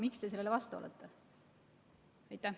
Miks te sellele vastu olete?